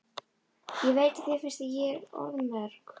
Ég veit að þér finnst ég orðmörg.